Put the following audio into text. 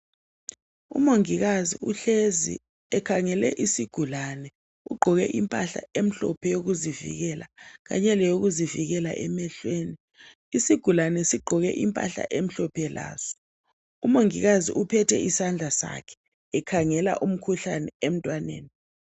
Umongikazi uhlezi ekhangele isigulane ugqoke impahla emhlophe eyokuzivikela kanye leyokuzivikela emehlweni. Isigulane sigqoke impahla emhlophe laso, umongikazi uphethe isandla sakhe ekhangela umkhuhlane emntwaneni.